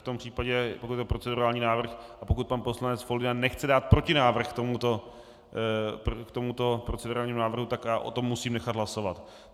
V tom případě, pokud jde o procedurální návrh a pokud pan poslanec Foldyna nechce dát protinávrh k tomuto procedurálnímu návrhu, tak já o tom musím nechat hlasovat.